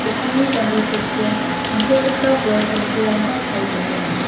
dokanni janggil ketchion tangsekgipa bol samsirangba chae dongenga.